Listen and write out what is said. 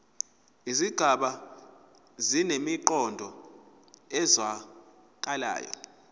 izigaba zinemiqondo ezwakalayo